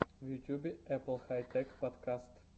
в ютьюбе эппл хай тэк подкаст